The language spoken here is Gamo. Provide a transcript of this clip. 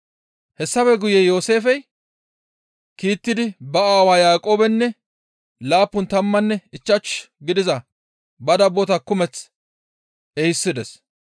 Hessafe guye Yooseefey kiittidi ba aawa Yaaqoobenne laappun tammanne ichchashu gidiza ba dabbota kumeth ehisides.